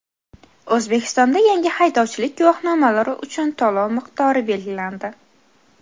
O‘zbekistonda yangi haydovchilik guvohnomalari uchun to‘lov miqdori belgilandi.